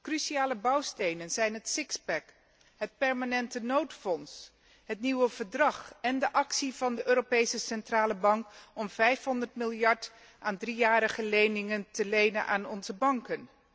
Cruciale bouwstenen zijn het het permanente noodfonds, het nieuwe verdrag en de actie van Europese Centrale Bank om 500 miljard aan driejarige leningen te lenen aan onze banken.